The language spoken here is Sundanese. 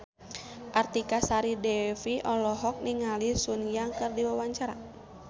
Artika Sari Devi olohok ningali Sun Yang keur diwawancara